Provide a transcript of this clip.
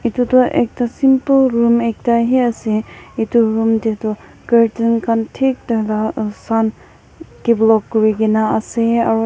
etu tu ekta simple room ekta hi ase etu room teh tu curtain khan thik tah lah develope kuri ke na ase aru--